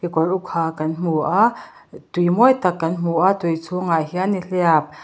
kekawr uk ha kan hmu a tui mawi tak kan hmu a tui chhungah hian nihliap.